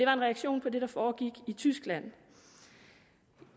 reaktion på det der foregik i tyskland